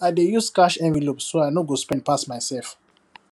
i dey use cash envelope so i no go spend pass myself